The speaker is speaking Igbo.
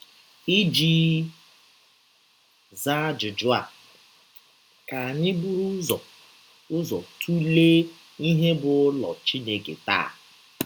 Iji zaa ajụjụ a, ka anyị bụrụ ụzọ ụzọ tụlee ihe bụ́ ụlọ Chineke taa.